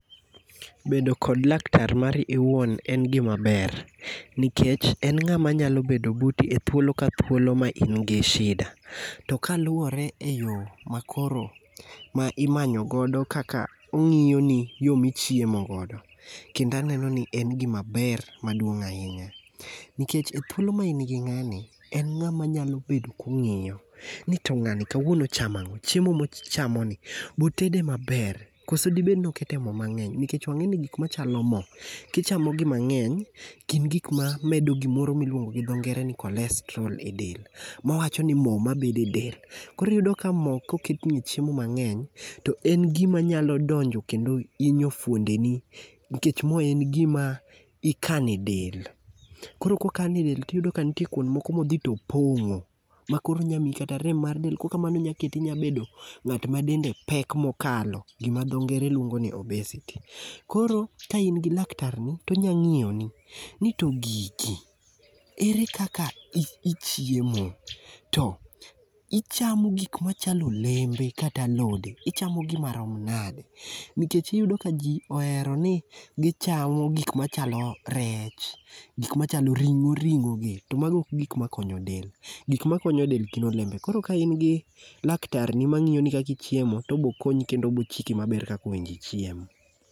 Bedo kod laktar mari iwuon en gimaber nikech en ng'ama nyalo bedo buti e thuolo ka thuolo ma in gi shida to kaluwore e yo makoro ma imanyo godo kaka ong'iyo ni yo michiemo godo, kendo aneno ni en gimaber maduong' ahinya, nikech e thuolo ma in gi ng'ani, en ng'ama nyalo bedo kong'eyo ni to ng'ani kawuono ochamo ang'o, chiemo mochamoni be otede maber, kose dibed ni okete mo mang'eny nikech wang'eni gik machalo mo, kichamogi mang'eny gin gik mamedo gimoro miluongo gi dho ngere ni cholestrol e del ma wawacho ni mo mabedo e del. Koro iyudo ka mo koket e chiemo mang'eny, to en gimanyalo donjo kendo hinyo fwondeni, nikech mo en gima ikano e del. Koro kokane del tiyudo ka nitie kwond moko modhi to opong'o, makoro onya miyi kata rem mar del kokamano onya keti inya bedo ng'at ma dende pek mokalo, gima dho ngere luongo ni obesity. Koro ka in gi laktarni to onya ng'iyoni ni to gigi, ere kaka ichiemo, to ichamo gik machalo olembe kata alode, ichamogi marom nade?. nikech iyudo ka ji ohero ni gichamo gik machalo rech ,gik machalo ring'o ring'ogi, to mago ok gik makonyo del. Gik makonyo del gi olembe, koro ka in gi laktarni ma ng'iyoni kaka ichiemo, to obokonyi kendo obochiki maber kaka onego ichiem.